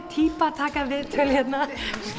týpa að taka viðtöl hérna